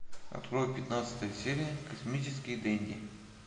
открой пятнадцатая серия космический денди